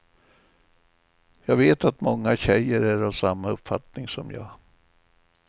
Jag vet att många tjejer är av samma uppfattning som jag.